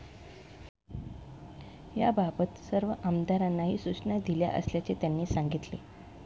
याबाबत सर्व आमदारांनाही सूचना दिल्या असल्याचे त्यांनी सांगितले.